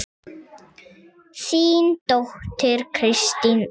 Þín dóttir Kristín Alda.